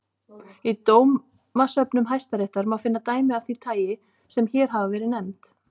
Í dómasöfnum hæstaréttar má finna dæmi af því tagi sem hér hafa verið nefnd.